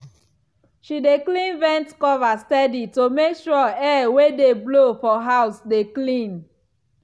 she dey clean vent cover steady to make sure air wey dey blow for house dey clean.